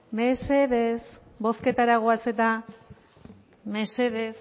mesedez bozketara goaz eta mesedez